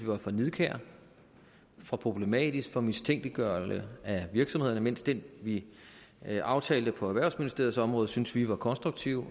var for nidkær for problematisk for mistænkeliggjorde virksomhederne mens den vi vi aftalte på erhvervsministeriets område syntes vi var konstruktiv